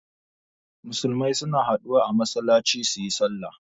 Musulmai suna haɗuwa a masallaci suyi sallah